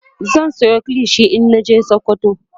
zan Sayo kilishi in naje sokoto